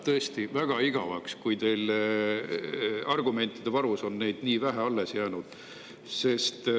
Tõesti väga igavaks läheb, kui teil argumentide varus on nii vähe alles jäänud.